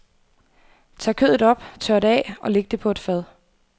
Tag kødet op, tør det af og læg det på et fad.